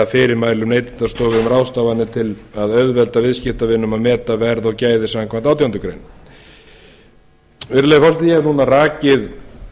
fyrirmælum neytendastofu um ráðstafanir til að auðvelda viðskiptavinum að meta verð og gæði samkvæmt átjándu grein virðulegi forseti ég hef núna rakið